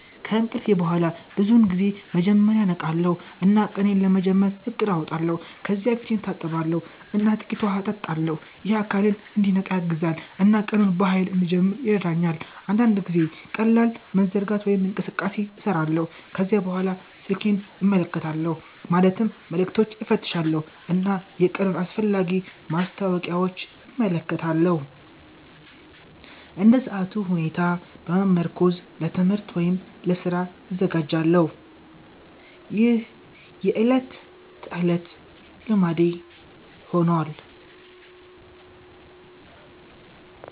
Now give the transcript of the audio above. ከእንቅልፍ በኋላ ብዙውን ጊዜ መጀመሪያ እነቃለሁ እና ቀኔን ለመጀመር እቅድ አወጣለሁ። ከዚያ ፊቴን እታጠባለሁ እና ጥቂት ውሃ እጠጣለሁ። ይህ አካሌን እንዲነቃ ያግዛል እና ቀኑን በኃይል እንድጀምር ይረዳኛል። አንዳንድ ጊዜ ቀላል መዘርጋት ወይም እንቅስቃሴ እሰራለሁ። ከዚያ በኋላ ስልኬን እመለከታለሁ ማለትም መልዕክቶችን እፈትሻለሁ እና የቀኑን አስፈላጊ ማስታወቂያዎች እመለከታለሁ። እንደ ሰዓቱ ሁኔታ በመመርኮዝ ለትምህርት ወይም ለስራ እዘጋጃለሁ። ይህ የዕለት ተዕለት ልማዴ ሆኗል።